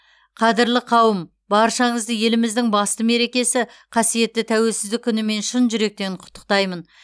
қадірлі қауым баршаңызды еліміздің ең басты мерекесі қасиетті тәуелсіздік күнімен шын жүректен құттықтаймын